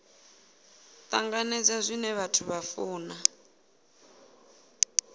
tanganedza zwine vhathu vha funa